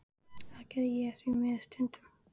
Það geri ég því miður stundum.